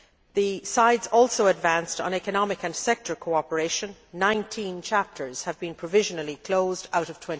The sides also advanced on economic and sectoral cooperation 19 chapters have been provisionally closed out of